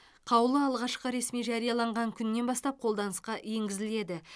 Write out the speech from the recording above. қаулы алғашқы ресми жарияланған күнінен бастап қолданысқа енгізіледі